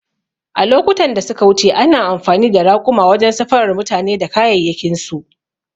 A lokutan da suka wuce ana amfani da raƙuma wajen safarar mutane da kayayyakinsu